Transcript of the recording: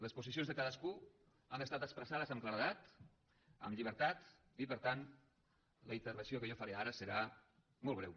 les posicions de cadascú han estat expressades amb claredat amb llibertat i per tant la intervenció que jo faré ara serà molt breu